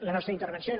la nostra intervenció i